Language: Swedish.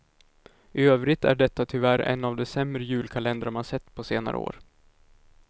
I övrigt är detta tyvärr en av de sämre julkalendrar man sett på senare år.